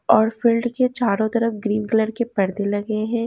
और फील्ड के चारों तरफ ग्रीन कलर के पर्दे लगे है।